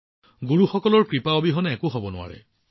গুৰুসকলৰ আশীৰ্বাদ অবিহনে একো হব নোৱাৰে